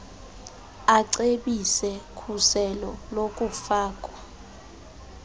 acebise khuselo lokufakwa